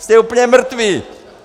Jste úplně mrtví!